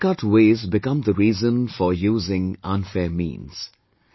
These shortcut ways become the reason for using unfair means